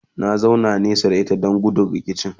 na zauna nesa da ita Dan gudun rikici